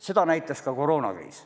Seda näitas ka koroonakriis.